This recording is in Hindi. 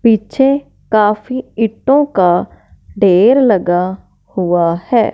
पीछे काफी ईटों का ढेर लगा हुआ हैं।